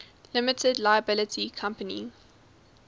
limited liability company